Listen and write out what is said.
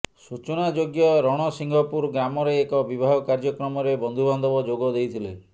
ସୂଚନାଯୋଗ୍ୟ ରଣସିଂହପୁର ଗ୍ରାମରେ ଏକ ବିବାହ କାର୍ଯ୍ୟକ୍ରମରେ ବନ୍ଧୁବାନ୍ଧବ ଯୋଗ ଦେଇଥିଲେ